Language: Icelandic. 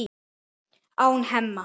án Hemma.